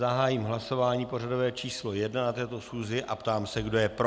Zahájím hlasování pořadové číslo 1 na této schůzi a ptám se, kdo je pro.